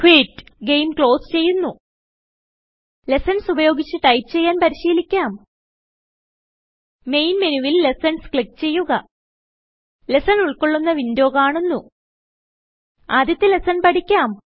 quit - game close ചെയ്യുന്നു lessons ഉപയോഗിച്ച് type ചെയ്യാൻ പരിശീലിക്കാം മെയിൻ മെനുവിൽLessons ക്ലിക്ക് ചെയ്യുക ലെസ്സൺ ഉൾകൊള്ളുന്ന വിന്ഡോ കാണുന്നു ആദ്യത്തെ ലെസ്സൺ പഠിക്കാം